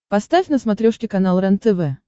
поставь на смотрешке канал рентв